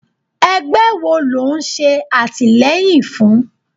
Ẹgbẹ́ wo lò ń ṣe àtìleyìn fún?